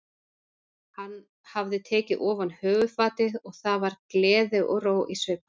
Hann hafði tekið ofan höfuðfatið og það var gleði og ró í svip hans.